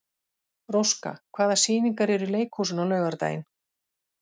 Róska, hvaða sýningar eru í leikhúsinu á laugardaginn?